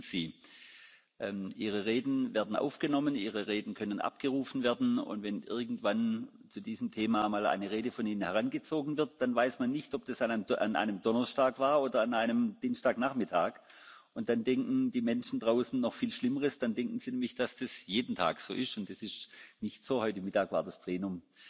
Denn bedenken Sie Ihre Reden werden aufgenommen, Ihre Reden können abgerufen werden, und wenn irgendwann zu diesem Thema mal eine Rede von Ihnen herangezogen wird, dann weiß man nicht, ob das an einem Donnerstag war oder an einem Dienstagnachmittag, und dann denken die Menschen draußen noch viel Schlimmeres. Dann denken sie nämlich, dass das jeden Tag so ist, und das ist nicht so, heute Mittag war das Plenum